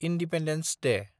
independence Day